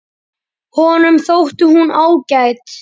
Honum þótti hún ágæt.